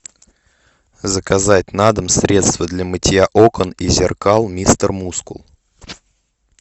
заказать на дом средство для мытья окон и зеркал мистер мускул